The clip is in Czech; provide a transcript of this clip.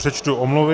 Přečtu omluvy.